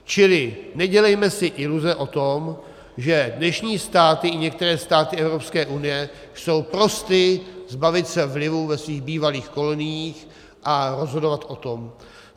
Čili nedělejme si iluze o tom, že dnešní státy, i některé státy Evropské unie, jsou prosty zbavit se vlivu ve svých bývalých koloniích a rozhodovat o tom.